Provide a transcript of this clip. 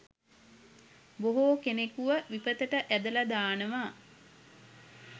බොහෝ කෙනෙකුව විපතට ඇදල දානවා.